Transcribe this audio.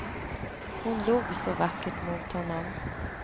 Hon log så vackert mot honom.